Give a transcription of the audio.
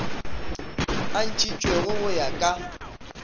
o ntšhitšwego go ya ka